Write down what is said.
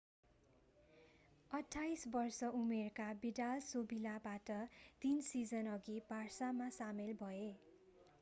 28-वर्ष-उमेरका Vidal सेभिलाबाट तीन सिजनअघि बार्सामा सामेल भए।